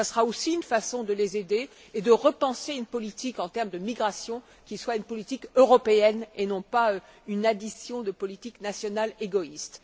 Ce sera aussi une façon de les aider et de repenser une politique de migration qui soit une politique européenne et non une addition de politiques nationales égoïstes.